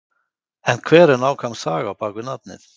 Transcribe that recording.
En hver er nákvæm saga á bakvið nafnið?